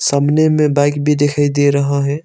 सामने में बाइक भी दिखाई दे रहा है।